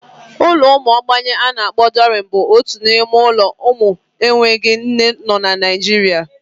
Ụlọ ụmụ ogbenye a na-akpọ Dọrianu bụ otu n'ime ụlọ ụmụ enweghị nne nọ na Naijiria.